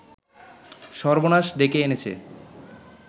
সর্বনাশ ডেকে এনেছে